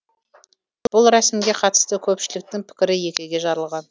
бұл рәсімге қатысты көпшіліктің пікірі екіге жарылған